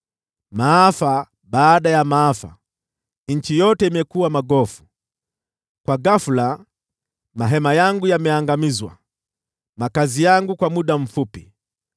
Maafa baada ya maafa, nchi yote imekuwa magofu. Kwa ghafula mahema yangu yameangamizwa, makazi yangu kwa muda mfupi.